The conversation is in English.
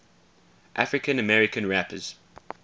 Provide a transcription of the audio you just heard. african american rappers